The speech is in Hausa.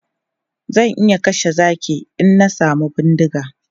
Zan iya kashe zaki in na samu bindiga.